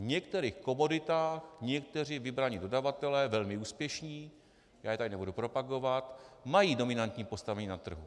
V některých komoditách někteří vybraní dodavatelé, velmi úspěšní, já je tady nebudu propagovat, mají dominantní postavení na trhu.